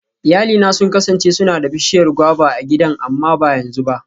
Iyalina sun kasance suna da bishiyar guava a gidan amma ba yanzu ba.